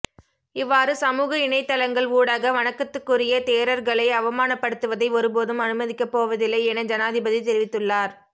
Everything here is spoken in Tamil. இவ்வாறு சமூக இணையத்தளங்கள் ஊடாக வணக்கத்துக்குரிய தேரர்களை அவமானப்படுத்துவதை ஒருபோதும் அனுமதிக்கப்போவதில்லை என ஜனாதிபதி தெரிவித்துள்ளார்